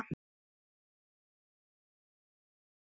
Hvernig mátti þetta verða?